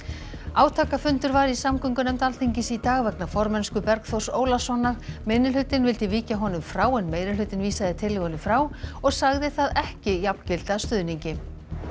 átakafundur var í samgöngunefnd Alþingis í dag vegna formennsku Bergþórs Ólasonar minnihlutinn vildi víkja honum frá en meirihlutinn vísaði tillögunni frá og sagði það ekki jafngilda stuðningi